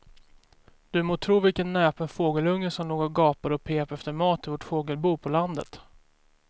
Du må tro vilken näpen fågelunge som låg och gapade och pep efter mat i vårt fågelbo på landet.